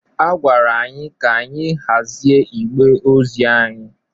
A gwara anyị ka anyị hazie igbe ozi anyị.